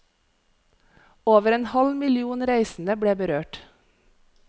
Over en halv million reisende ble berørt.